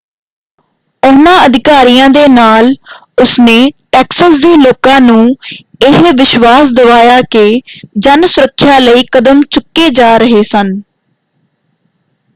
ਉਹਨਾਂ ਅਧਿਕਾਰੀਆਂ ਦੇ ਨਾਲ ਉਸਨੇ ਟੈਕਸਸ ਦੇ ਲੋਕਾਂ ਨੂੰ ਇਹ ਵਿਸ਼ਵਾਸ਼ ਦਵਾਇਆ ਕਿ ਜਨ ਸੁਰੱਖਿਆ ਲਈ ਕਦਮ ਚੁੱਕੇ ਜਾ ਰਹੇ ਸਨ।